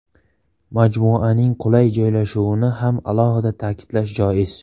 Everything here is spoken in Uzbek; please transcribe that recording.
Majmuaning qulay joylashuvini ham alohida ta’kidlash joiz.